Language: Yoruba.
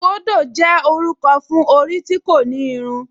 Súkóndò jẹ́ orúkọ fún orí tí kò ní irun